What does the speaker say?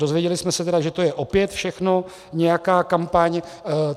Dozvěděli jsme se tedy, že to je opět všechno nějaká kampaň.